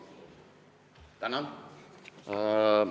Tänan!